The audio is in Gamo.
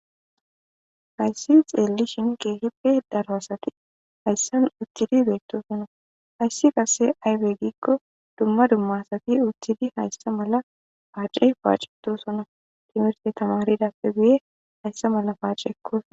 hayssi xeelli shin keehippe daro asati hayssan uthidi beettosono hayssi qase aybe giikko dumma dummasati uthidi hayssa mala paace paaceto sona timirte tamaridappe buye hayssa mala paaceekkos